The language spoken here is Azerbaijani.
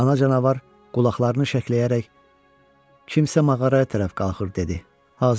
Ana canavar qulaqlarını şəkləyərək kimsə mağaraya tərəf qalxır dedi.